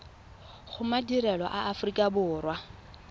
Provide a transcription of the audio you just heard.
go madirelo a aforika borwa